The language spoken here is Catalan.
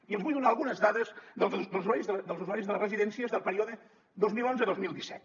i els vull donar algunes dels usuaris de les residències del període dos mil onze dos mil disset